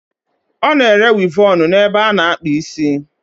Ona ere Wivọnụ n'ebe o na-akpa isi